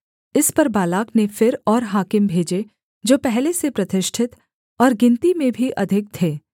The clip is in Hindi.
इस पर बालाक ने फिर और हाकिम भेजे जो पहले से प्रतिष्ठित और गिनती में भी अधिक थे